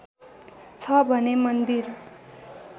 छ भने मन्दिर